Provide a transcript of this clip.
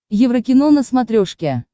еврокино на смотрешке